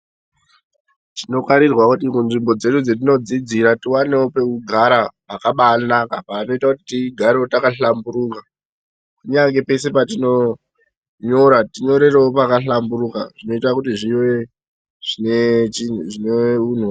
Tinofanirwawo kuti panzvbo pedu patinenge teigara pakabainaka tigare takahlamburuka kunyange peshe patinonyora tonyorerewo pakahlamburuka zvinoita kuti zvive ....